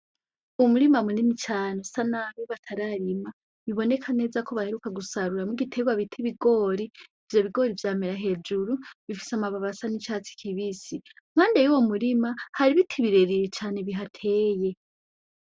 Umurima munini cane usa nabi batararima biboneka neza yuko baheruka gusaruramwo igiterwa bita ikigori, ivyo bigori vyamera hejuru bifise amababi asa n'icatsi kibisi. Impande yuwo murima hari ibiti birebire cane bihateye.